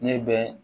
Ne bɛ